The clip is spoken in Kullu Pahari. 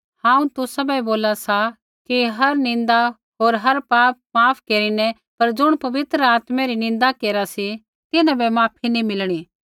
हांऊँ तुसाबै बोला सा कि हर निन्दा होर पाप माफ केरिनै पर ज़ुणा पवित्र आत्मै री निन्दा केरा सी तिन्हां बै माफी नी मिलणी